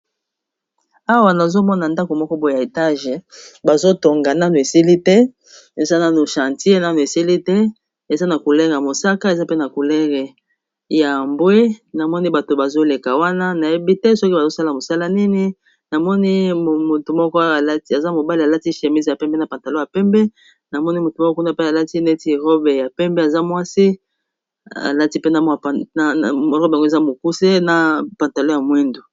awa nazomona ndako moko boe ya etage bazotonga nanu esili te esananu chantier nanu esili te eza na kulere y mosaka eza pe na culere ya ambwe namoni bato bazoleka wana nayebi te soki bazosala mosala nini namoni motu mokoaza mobali alati chemis ya pembe na pantalo ya pembe namoni motu moko kuna pe alati neti robe ya pembe aza mwasi robe ango za mokuse na pantalo ya mwindu